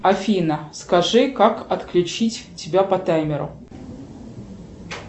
афина скажи как отключить тебя по таймеру